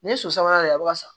Ni ye so sabanan de a bɛ ka sa